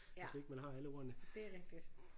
Ja det er rigtigt